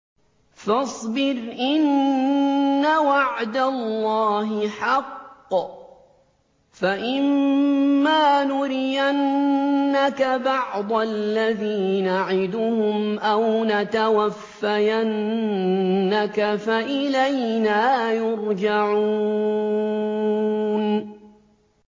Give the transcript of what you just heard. فَاصْبِرْ إِنَّ وَعْدَ اللَّهِ حَقٌّ ۚ فَإِمَّا نُرِيَنَّكَ بَعْضَ الَّذِي نَعِدُهُمْ أَوْ نَتَوَفَّيَنَّكَ فَإِلَيْنَا يُرْجَعُونَ